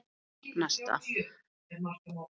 Þó kynni að hlýna.